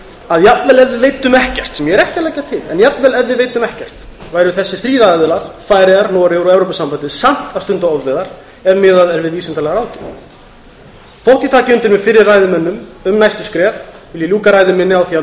að jafnvel ef við veiddum ekkert sem ég er ekki að leggja til væru þessir þrír aðilar færeyjar noregur og evrópusambandið samt að stunda ofveiðar ef miðað er við vísindalega ráðgjöf þótt ég taki undir með fyrri ræðumönnum um næstu skref vil ég ljúka ræðu minni á því að